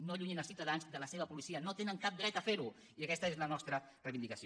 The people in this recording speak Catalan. no allunyin els ciutadans de la seva policia no tenen cap dret a ferho i aquesta és la nostra reivindicació